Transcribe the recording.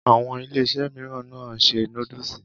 Àwọn Iléeṣẹ́ mìíràn náà n ṣe núdúsì.